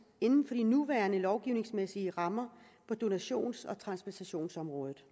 inden for de nuværende lovgivningsmæssige rammer på donations og transplantationsområdet